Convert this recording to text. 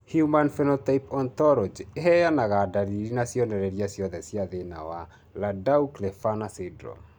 Human Phenotype Ontology ĩheanaga ndariri na cionereria ciothe cia thĩna wa Landau Kleffner syndrome